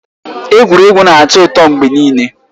Egwuregwu na-atọ ụtọ mgbe niile.